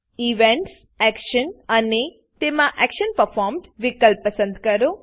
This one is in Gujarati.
ઇવેન્ટ્સ ઈવેન્ટ્સ એક્શન એક્શન અને તેમાં એક્શન પરફોર્મ્ડ એક્શન પરર્ફોમ્ડ વિકલ્પ પસંદ કરો